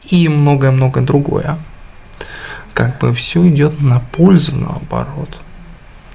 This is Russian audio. и многое-многое другое как бы всё идёт на пользу наоборот